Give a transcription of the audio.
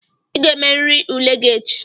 Ị ga-emerịrị ule gị echi!